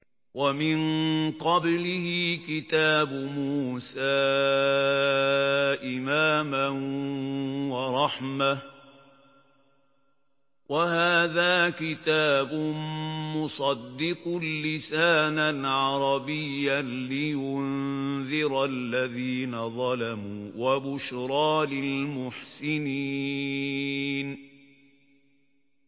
وَمِن قَبْلِهِ كِتَابُ مُوسَىٰ إِمَامًا وَرَحْمَةً ۚ وَهَٰذَا كِتَابٌ مُّصَدِّقٌ لِّسَانًا عَرَبِيًّا لِّيُنذِرَ الَّذِينَ ظَلَمُوا وَبُشْرَىٰ لِلْمُحْسِنِينَ